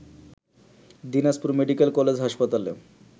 Dinajpur medical college হাসপাতালে